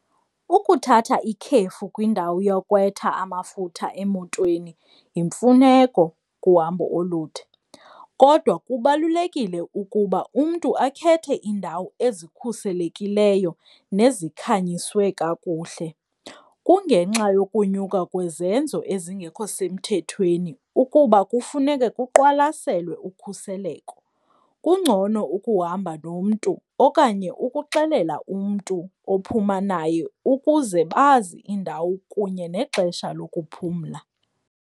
Ukuthatha ikhefu kwindawo yokwetha amafutha emotweni yimfuneko kuhambo olude, kodwa kubalulekile ukuba umntu akhethe iindawo ezikhuselekileyo nezikhanyiswe kakuhle, kungenxa yokunyuka kwezenzo ezingekho semthethweni ukuba kufuneke kuqwalaselwe ukhuseleko. Kungcono ukuhamba nomntu okanye ukuxelela umntu ophuma naye ukuze bazi indawo kunye nexesha lokuphumla.